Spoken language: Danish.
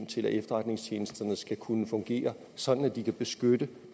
til at efterretningstjenesterne skal kunne fungere sådan at de kan beskytte